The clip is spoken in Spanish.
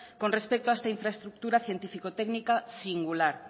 con respecto a esta infraestructura científico técnica singular